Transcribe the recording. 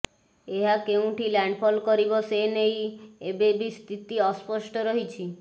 ଏହା କେଉଁଠି ଲ୍ୟାଣ୍ଡଫଲ୍ କରିବ ସେନେଇ ଏବେ ବି ସ୍ଥିତି ଅସ୍ପଷ୍ଟ ରହିଛି